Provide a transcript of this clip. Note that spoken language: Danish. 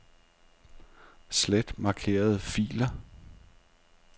Slet markerede filer.